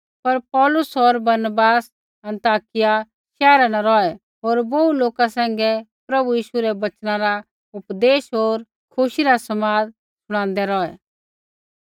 पर पौलुस होर बरनबास अन्ताकिया शैहरा न रौहै होर बोहू लोका सैंघै प्रभु यीशु रै वचना रा उपदेश होर खुशी रा समाद शुणादै रौहै